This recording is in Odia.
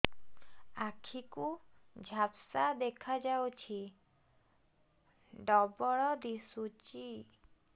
ଆଖି କୁ ଝାପ୍ସା ଦେଖାଯାଉଛି ଡବଳ ଦିଶୁଚି